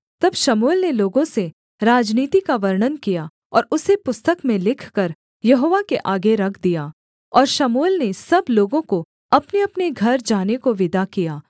तब शमूएल ने लोगों से राजनीति का वर्णन किया और उसे पुस्तक में लिखकर यहोवा के आगे रख दिया और शमूएल ने सब लोगों को अपनेअपने घर जाने को विदा किया